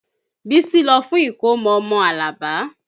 Bísí lọ fún ìkómọ ọmọ Alabi